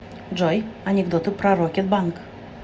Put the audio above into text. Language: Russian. джой анекдоты про рокет банк